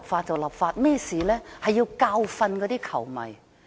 就是要教訓那些球迷。